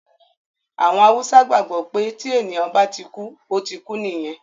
Àwọn Haúsá gbàgbọ́ pé tí ènìyàn bá ti kú, ó ti kú nìyẹn